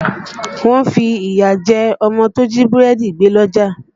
Wọ́n fi ìyà jẹ ọmọ tó jí búrẹ́dì gbé lọ́jà